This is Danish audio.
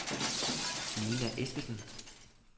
Nina Eskesen